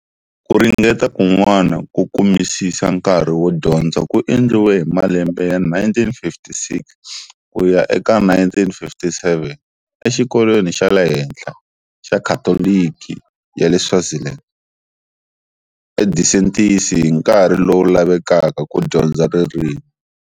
Ku ringeta kun'wana ko kumisisa nkarhi wo dyondza ku endliwe hi malembe ya 1956 ku ya eka 1957 exikolweni xa le henhla xa Khatoliki ya le Swaziland eDisentis hi nkarhi lowu lavekaka ku dyondza ririmi.